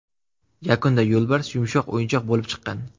Yakunda yo‘lbars yumshoq o‘yinchoq bo‘lib chiqqan.